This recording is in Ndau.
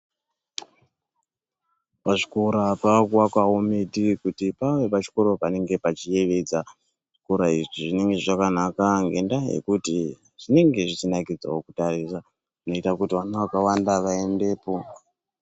Pazvikora pakuvakwawo miti kuti pave pachikoro panenge pachiyevedza. Zvikora izvi zvinenge zvakanaka ngendaa yekuti zvinenge zvichinakidzawo kutarisa. Zvinoita kuti vana vakawanda vaendepo.